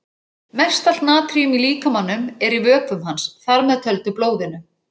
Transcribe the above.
Mest allt natríum í líkamanum er í vökvum hans, þar með töldu blóðinu.